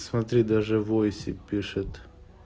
смотри даже войсе пишет